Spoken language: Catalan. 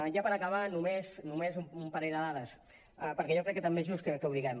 ja per acabar només un parell de dades perquè jo crec que també és just que ho diguem